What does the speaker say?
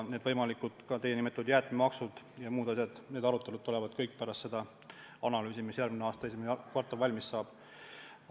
Nende võimalike, ka teie nimetatud jäätmemaksude ja muude asjade arutelud tulevad kõik pärast seda analüüsi, mis järgmisel aastal esimeses kvartalis valmis saab.